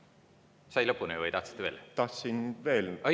lõpuni või tahtsite veel?